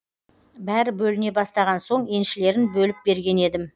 бәрі бөліне бастаған соң еншілерін бөліп берген едім